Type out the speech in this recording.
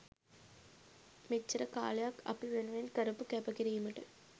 මෙච්චර කාලයක් අපි වෙනුවෙන් කරපු කැප කිරීමට